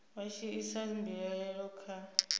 vha tshi isa mbilaelo kha